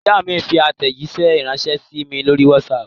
Ìyá mi fi àtẹ̀jíṣẹ́ ránṣẹ́ sí mi lórí WhatsApp.